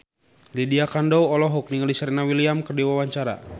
Lydia Kandou olohok ningali Serena Williams keur diwawancara